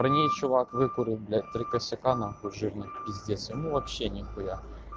при ней чувак выкурить блять три косяк нахуй жирный пиздец ему вообще нихуя